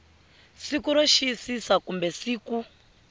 siku ro xiyisisa kumbe siku